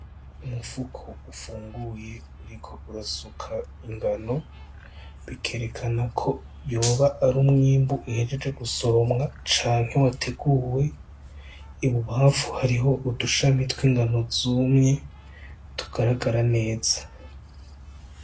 Umufuko ufunguye uriko urasuka ingano bikerekana ko yoba ari umwimbu uhejeje gu soromwa canke wateguwe ibubafu hariho udushamitwe ingano zumye tugaragara neza.